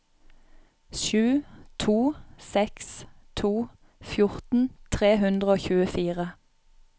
sju to seks to fjorten tre hundre og tjuefire